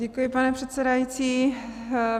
Děkuji, pane předsedající.